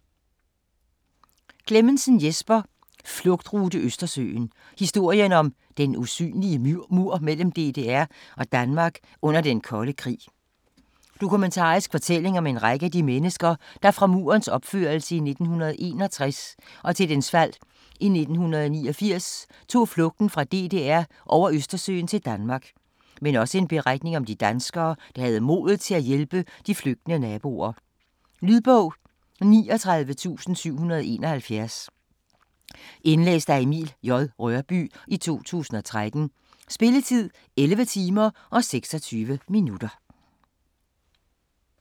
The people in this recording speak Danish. Clemmensen, Jesper: Flugtrute Østersøen: historien om "den usynlige mur" mellem DDR og Danmark under den kolde krig Dokumentarisk fortælling om en række af de mennesker, der fra Murens opførelse i 1961 til dens fald i 1989 tog flugten fra DDR over Østersøen til Danmark, men også en beretning om de danskere, der havde modet til at hjælpe de flygtende naboer. Lydbog 39771 Indlæst af Emil J. Rørbye, 2013. Spilletid: 11 timer, 26 minutter.